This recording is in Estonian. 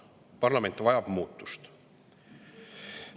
Parlament vajab muutust.